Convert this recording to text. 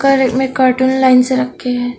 Cartoon line से रक्खे है।